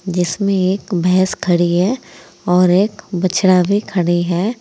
जिसमें एक भैंस खड़ी है और एक बछड़ा भी खड़ी है।